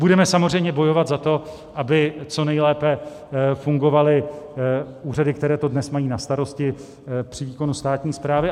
Budeme samozřejmě bojovat za to, aby co nejlépe fungovaly úřady, které to dnes mají na starosti při výkonu státní správy.